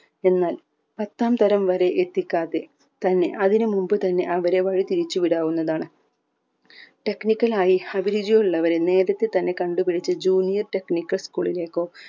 എന്നാൽ പത്താം തരം വരെ എത്തിക്കാതെ തന്നെ അതിന് മുമ്പ് തന്നെ അവരെ വഴി തിരിച്ച് വിടാവുന്നതാണ് technical ആയി അഭിരുചി ഉള്ളവരെ നേരത്തെ തന്നെ കണ്ടു പിടിച്ച് junior technical school ലേക്കോ എന്നാൽ പത്താം തരം വരെ എത്തിക്കാതെ തന്നെ അതിന് മുമ്പ് തന്നെ അവരെ വഴി തിരിച്ച് വിടാവുന്നതാണ് technical ആയി അഭിരുചിയുള്ളവരെ നേരത്തെ തന്നെ കണ്ടുപിടിച്ച് junior technical school ലേക്കോ